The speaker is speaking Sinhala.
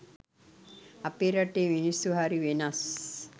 අපේ රටේ මිනිස්සු හරි වෙනස්